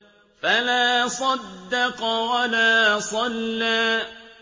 فَلَا صَدَّقَ وَلَا صَلَّىٰ